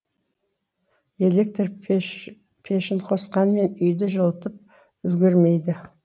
электр пешін қосқанмен үйді жылытып үлгермейді